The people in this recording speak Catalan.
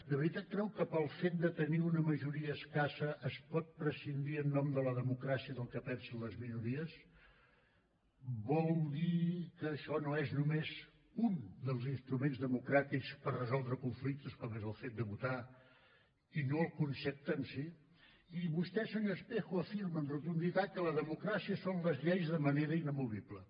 de veritat creu que pel fet de tenir una majoria escassa es pot prescindir en nom de la democràcia del que pensen les minories vol dir que això no és només un dels instruments democràtics per resoldre conflictes com és el fet de votar i no el concepte en si i vostè senyor espejo afirma amb rotunditat que la democràcia són les lleis de manera inamovible